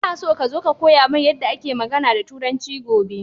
Ina so ka zo ka koya mini yadda ake magAna da turanci gobe